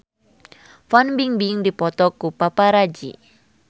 Fan Bingbing dipoto ku paparazi